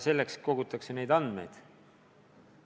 Selleks kogutakse neid andmeid.